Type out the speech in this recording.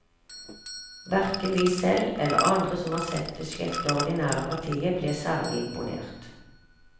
Hverken vi selv eller andre som har sett det sjette ordinære partiet, ble særlig imponert.